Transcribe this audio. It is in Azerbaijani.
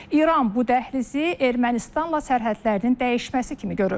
İran bu dəhlizi Ermənistanla sərhədlərinin dəyişməsi kimi görür.